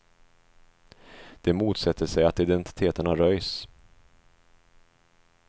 De motsätter sig att identiteterna röjs.